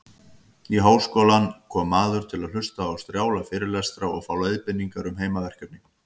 Í háskólann kom maður til að hlusta á strjála fyrirlestra og fá leiðbeiningar um heimaverkefni.